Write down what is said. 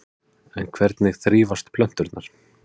En hvernig þrífast plönturnar?